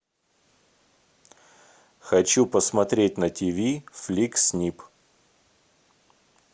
хочу посмотреть на тв фликс нип